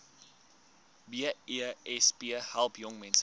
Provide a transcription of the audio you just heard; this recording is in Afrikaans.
besp help jongmense